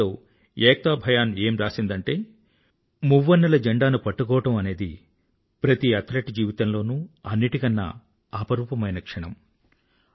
email లో ఏక్తా భయాన్ ఏం రాసిందంటే మువ్వన్నెల జండాను పట్టుకోవడం అనేది ప్రతి అథ్లెట్ జీవితంలోనూ అన్నింటికన్నా అపురూపమైన క్షణం